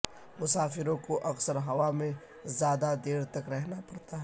مسافروں کو اکثر ہوا میں زیادہ دیر تک رہنا پڑتا ہے